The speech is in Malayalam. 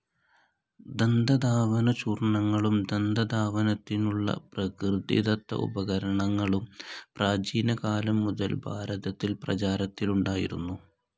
ദന്തധാവന ചൂർണങ്ങളും ദന്തധാവനത്തിനുള്ള പ്രകൃതിദത്ത ഉപകരണങ്ങളും പ്രാചീനകാലം മുതൽ ഭാരതത്തിൽ പ്രചാരത്തിലുണ്ടായിരുന്നു.